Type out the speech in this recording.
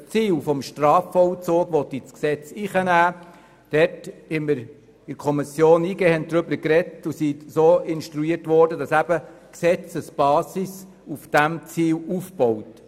Bei Artikel 22 Absatz 1 wurde die Kommission so instruiert, dass die Gesetzesbasis auf diesem Ziel aufbaut.